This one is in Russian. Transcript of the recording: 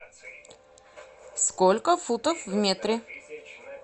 сколько футов в метре